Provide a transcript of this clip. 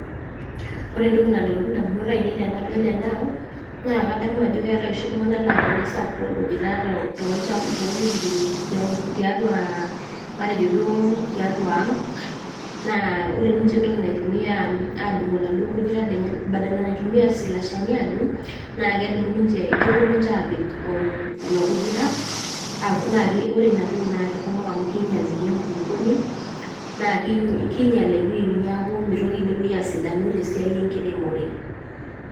Ore entoki nalotu edamunot ainei tenadol ena naa keetae oshi iltung'ana naa tenesapuku orkujita tiatua ang naa ore enkoki naitumia adungie orkujita badala naitumia slashani naa kepuo ninche apik orkujita naa ore ena toki naa kinyial ninye enkulupuoni naa kinyial neeku mitoki enewueji asidanu tee siai enkiremore